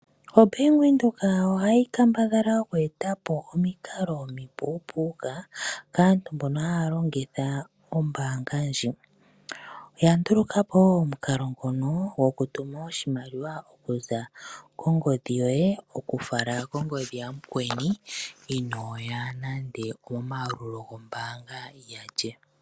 OBank Windhoek ohayi kambadhala oku eta po omikalo omipuupuka kaantu mbono haya longitha ombanga ndji. Oya nduluka po omukalo ngono gokutuma oshimaliwa okuza kongodhi yoye okufala kongodhi yamukweni inoya nande omomayalulo gombanga yalye.